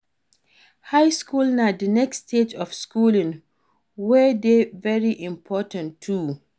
High school na the next stage of schooling wey de very important too